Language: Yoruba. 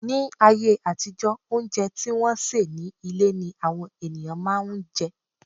Ní ayé àtijó, óúnjẹ tí wọ́n sè ní ilé ni àwọn ènìyàn máà ń jẹ.